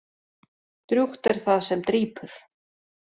Drjúgt er það sem drýpur.